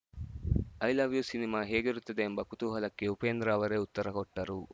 I love you cinema ಹೇಗಿರುತ್ತದೆ ಎಂಬ ಕುತೂಹಲಕ್ಕೆ ಉಪೇಂದ್ರ ಅವರೇ ಉತ್ತರ ಕೊಟ್ಟರು